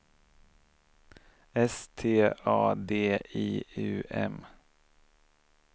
S T A D I U M